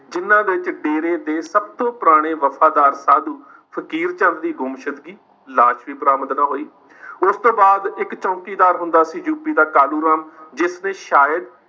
ਜਿਨ੍ਹਾਂ ਵਿੱਚ ਡੇਰੇ ਦੇ ਸਬ ਤੋਂ ਪੁਰਾਣੇ ਵਫ਼ਾਦਾਰ ਸਾਧੂ ਫ਼ਕੀਰ ਚੰਦ ਦੀ ਗੁੰਮਸ਼ੁਦਗੀ, ਲਾਸ਼ ਵੀ ਬਰਾਮਦ ਨਾ ਹੋਈ। ਉਸ ਤੋਂ ਬਾਅਦ ਇੱਕ ਚੌਕੀਦਾਰ ਹੁੰਦਾ ਸੀ UP ਦਾ ਕਾਲੂ ਰਾਮ, ਜਿਸ ਨੇ ਸ਼ਾਇਦ